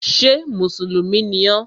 Ṣé mùsùlùmí ni ọ?